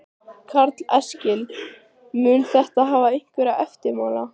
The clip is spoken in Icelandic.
Karl Eskil: Mun þetta hafa einhverja eftirmála?